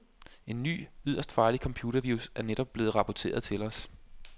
En ny, yderst farlig computervirus er netop blevet rapporteret til os.